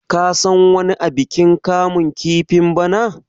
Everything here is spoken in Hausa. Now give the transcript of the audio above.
ka san wani abikin kamun kifin bana!